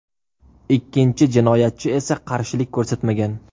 Ikkinchi jinoyatchi esa qarshilik ko‘rsatmagan.